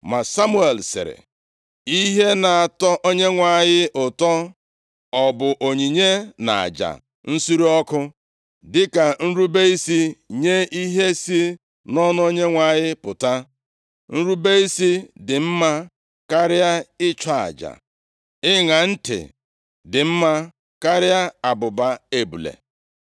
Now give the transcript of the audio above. Ma Samuel sịrị, “Ihe na-atọ Onyenwe anyị ụtọ ọ bụ onyinye na aja nsure ọkụ dịka nrube isi nye ihe si nʼọnụ Onyenwe anyị pụta? Nrube isi dị mma karịa ịchụ aja ịṅa ntị dị mma karịa abụba ebule.